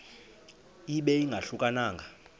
ibe ingahluka nanga